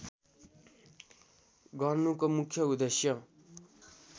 गर्नुको मुख्य उद्देश्य